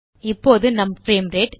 இப்போது நம் frame rate